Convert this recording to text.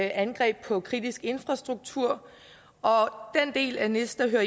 angreb på kritisk infrastruktur og den del af nis der hører